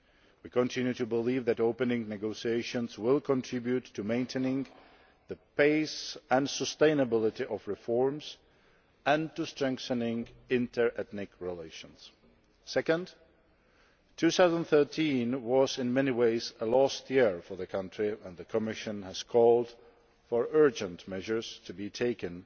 We continue to believe that opening negotiations will contribute to maintaining the pace and sustainability of reforms and to strengthening inter ethnic relations. Second, 2013 was in many ways a lost year for the country, and the Commission has called for urgent measures to be taken